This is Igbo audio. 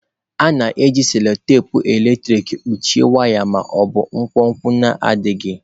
A na-eji cello-tepe eletrik kpuchie waya ma ọ bụ nkwonkwo na-adịghị.